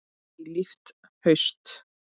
Eilíft haust.